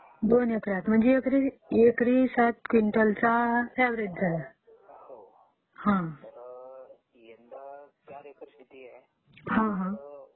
दोन एकरात म्हणजे एकरी सात क्विंटलचा अव्व्हरेज झाला...हां हां